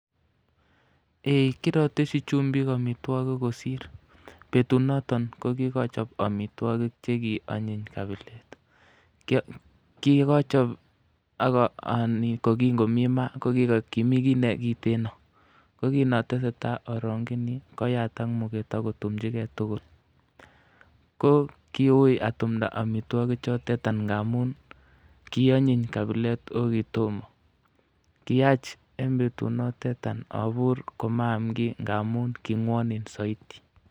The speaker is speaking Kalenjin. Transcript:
Kiroteshi amitwokik chumbik kosir betut notonnko kichop amitwakik chekionyin kabilet kigochob ako kin komimaa kiteno ko kinotesetai Achebe kotumjigeitugul kokiuy atumda amitwakik choton ngamun kionyin kabilet kiyach en betunoton abur komayam kii ako kingwonen soiti.